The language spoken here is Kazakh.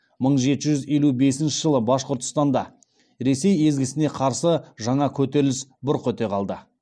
мың жеті жүз елу бесінші жылы башқұртстанда ресей езгісіне қарсы жаңа көтеріліс бұрқ ете калды